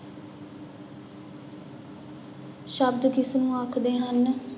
ਸ਼ਬਦ ਕਿਸਨੂੰ ਆਖਦੇ ਹਨ?